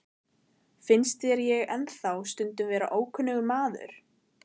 Finnst þér ég ennþá stundum vera ókunnugur maður?